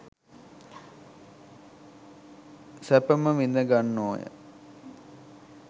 සැපම විඳ ගන්නෝ ය.